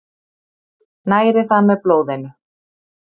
Næri það með blóðinu.